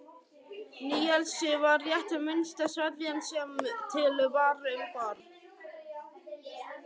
Níelsi var rétt minnsta sveðjan sem til var um borð.